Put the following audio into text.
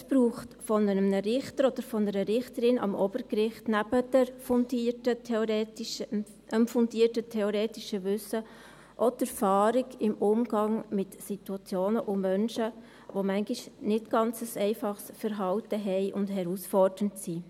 Es braucht von einem Richter oder einer Richterin am Obergericht nebst fundiertem theoretischem Wissen auch die Erfahrung im Umgang mit Situationen und Menschen, die manchmal ein nicht ganz einfaches Verhalten haben und herausfordernd sind.